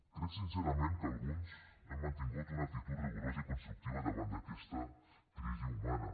crec sincerament que alguns hem mantingut una actitud rigorosa i constructiva davant d’aquesta crisi humana